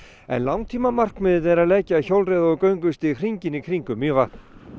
en langtímamarkmiðið er að leggja hjólreiða og göngustíg hringinn í kringum Mývatn